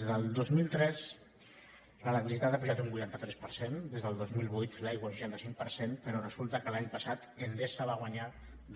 des del dos mil tres l’electricitat ha pujat un vuitanta tres per cent des del dos mil vuit l’aigua un seixanta cinc per cent però resulta que l’any passat endesa va guanyar